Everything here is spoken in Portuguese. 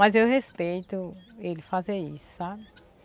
Mas eu respeito ele fazer isso, sabe?